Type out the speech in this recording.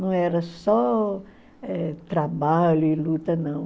Não era só eh trabalho e luta, não.